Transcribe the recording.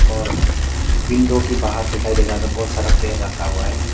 और विंदो की बाहर दिखाई देगा तो बहोत सारा पेर रखा हुआ है।